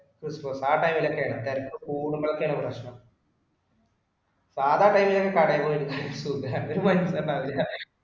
ആ time ഇൽ ഒക്കെ യാണ് പ്രശ്‍നം. തിരക്ക് കുടുമ്പോഴൊക്കെയാണ് പ്രശ്‍നം. സാദാ time ഇൽ ഒക്കെ കടെ പോയി